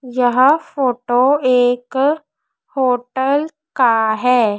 यह फोटो एक होटल का है।